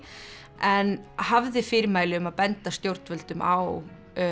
en hafði fyrirmæli um að benda stjórnvöldum á